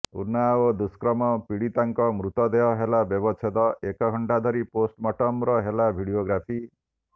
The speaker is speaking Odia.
ଉନ୍ନାଓ ଦୁଷ୍କର୍ମ ପୀଡ଼ିତାଙ୍କ ମୃତଦେହ ହେଲା ବ୍ୟବଚ୍ଛେଦ ଏକ ଘଣ୍ଟା ଧରି ପୋଷ୍ଟମର୍ଟମର ହେଲା ଭିଡିଓଗ୍ରାଫି